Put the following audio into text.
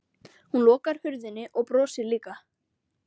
Hún lokar hurðinni og brosir líka.